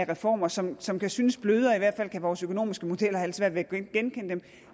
reformer som som kan synes blødere for i hvert fald kan vores økonomiske modeller have lidt svært ved at genkende dem